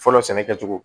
Fɔlɔ sɛnɛ kɛcogo